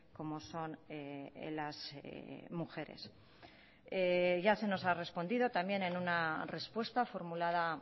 como son las mujeres ya se nos ha respondido también en una respuesta formulada